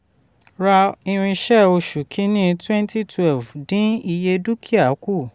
ra irinṣẹ́ oṣù kìíní twenty twelve dín iye dúkìá kù.